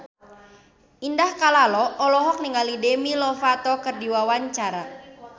Indah Kalalo olohok ningali Demi Lovato keur diwawancara